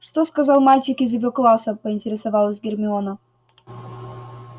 что сказал мальчик из его класса поинтересовалась гермиона